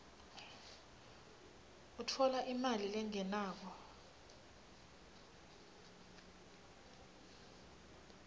utfola imali lengenako